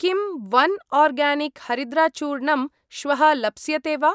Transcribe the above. किं one organic हरिद्राचूर्णम् श्वः लप्स्यते वा?